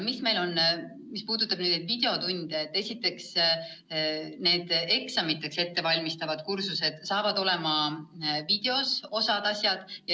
Mis puudutab videotunde, siis osa neid eksamiteks ette valmistavaid kursusi saab olema videos.